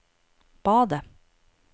badet